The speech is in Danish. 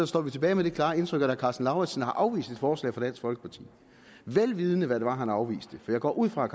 står vi tilbage med det klare indtryk at herre karsten lauritzen har afvist et forslag fra dansk folkeparti vel vidende hvad det var han afviste for jeg går ud fra at